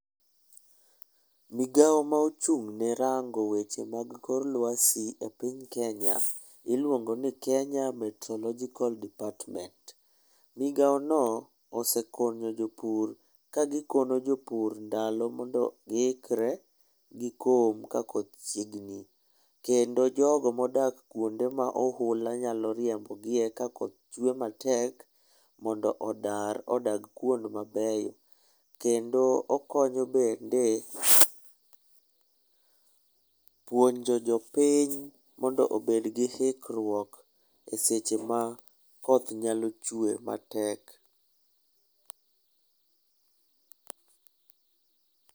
Migao ma ochung'ne rango weche mag kor lwasi e piny Kenya iluongo ni Kenya Meteorological department. Migaono osekonyo jopur ka gikono jopur ndalo mondo giikre gikom ka koth chiegni kendo jogo modak kuonde ma ohula nyalo riembogie ka koth chue matek, mondo odar odag kuond mabeyo. Kendo okonyo bende puonjo jopiny mondo obed gi ikruok e seche ma koth nyalo chwe matek.